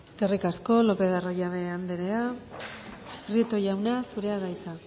eskerrik asko lopez de arroyabe anderea prieto jauna zurea da hitza